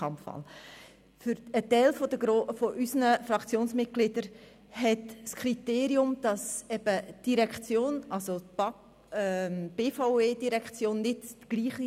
Bei 159 ausgeteilten und 159 eingegangenen Wahlzetteln, wovon leer 0 und ungültig 0, wird bei einem absoluten Mehr von 80 gewählt: